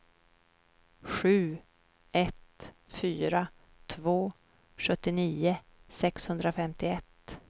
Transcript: sju ett fyra två sjuttionio sexhundrafemtioett